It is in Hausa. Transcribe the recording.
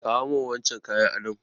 Kawo min wancan kayan adon!